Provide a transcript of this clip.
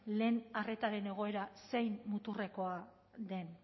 lehen arretaren egoera zein muturrekoa den